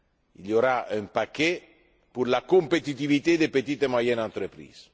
Il y aura un paquet pour la compétitivité des petites et moyennes entreprises.